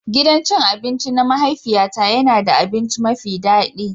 Gidan cin abinci na mahaifiyata yana ba da abinci mafi kyau.